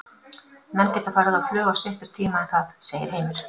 Menn geta farið á flug á styttri tíma en það, segir Heimir.